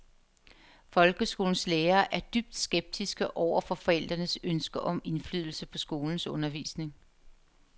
Folkeskolens lærere er dybt skeptiske over for forældrenes ønske om indflydelse på skolens undervisning.